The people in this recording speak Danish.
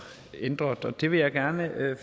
ændret og det vil jeg gerne